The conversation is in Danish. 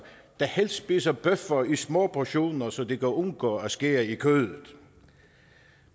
der helst spiser bøffer i små portioner så de kan undgå at skære i kødet